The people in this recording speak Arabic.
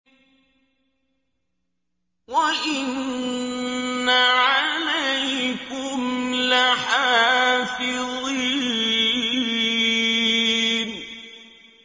وَإِنَّ عَلَيْكُمْ لَحَافِظِينَ